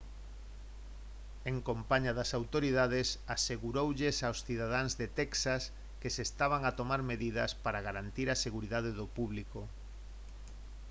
en compaña das autoridades aseguroulles aos cidadáns de texas que se estaban a tomar medidas para garantir a seguridade do público